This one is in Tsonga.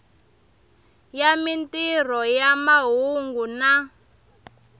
ya mintirho ya mahungu na